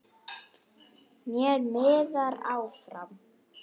Mér miðar áfram.